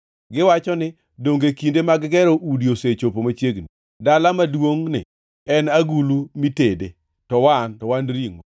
Giwacho ni, ‘Donge kinde mag gero udi osechopo machiegni? Dala maduongʼni en agulu mitede, to wan to wan ringʼo!’